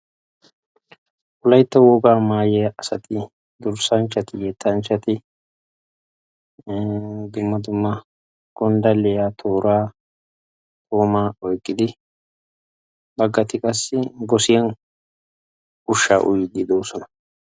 Wolaytta wogaa maayiyaa maayyiya asati dursanchchati yettanchchati dumma dumma gonddalliya tooraa goomaa oyqqidi baggati qassi gossiyan ushshaa uyiiddi de'oosona.